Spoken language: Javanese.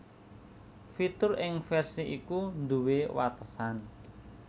Fitur ing versi iku nduwé watesan